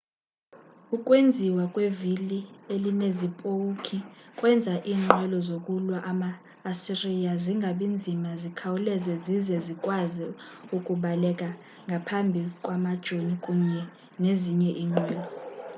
ukwenziwa kwevili elinezipowukhi kwenza iinqwelo zokulwa zama-asiriya zingabi nzima zikhawuleze zize zikwazi ukubaleka ngaphambi kwamajoni kunye nezinye iinqwelo